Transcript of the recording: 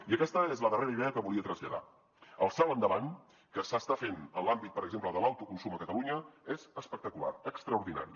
i aquesta és la darrera idea que volia traslladar el salt endavant que s’està fent en l’àmbit per exemple de l’autoconsum a catalunya és espectacular extraordinari